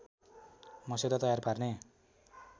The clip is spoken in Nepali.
मस्यौदा तयार पार्ने